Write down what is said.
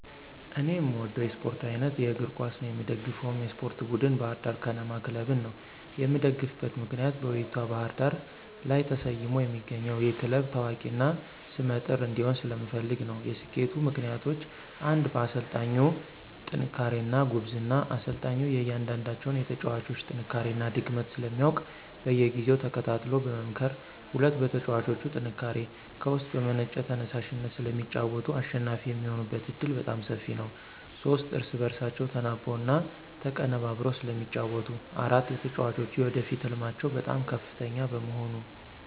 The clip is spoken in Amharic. እኔ የምወደው የስፓርት አይነት የእግር ኳስ ነው። የምደግፈውም የስፓርት ቡድን ባህር ዳር ከነማ ክለብን ነው። የምደግፍበት ምክንያት በውቢቷ ባህር ዳር ስም ተሰይሞ የሚገኘው ይህ ክለብ ታዋቂ እና ሰመ ጥር እንዲሆን ስለምፈልግ ነው። የሰኬቱ ምክንያቶች ፩) በአሰልጣኙ ጥንክርና እና ጉብዝና፦ አሰልጣኙ የእያንዳንዳቸውን የተጫዋጮች ጥንካሬ እና ድክመት ስለሚያውቅ በየጊዜው ተከታትሎ በመምከር። ፪) በተጫዋቾቹ ጥንካሬ፦ ከውስጥ በመነጨ ተየሳሽነት ስለሚጫወቱ አሸናፊ የሚሆኑበት ዕድል በጣም ሰፊ ነው። ፫) እርስ በእርሳቸው ተናበው እና ተቀነበብረው ስለሚጫወቱ። ፬) የተጫዋጮች የወደፊት ህልማቸው በጣም ከፍተኛ በመሆኑ።